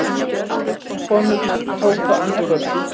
Konurnar tóku andköf